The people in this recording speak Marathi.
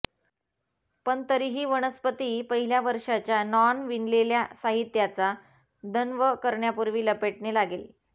पण तरीही वनस्पती पहिल्या वर्षाच्या नॉन विणलेल्या साहित्याचा दंव करण्यापूर्वी लपेटणे लागेल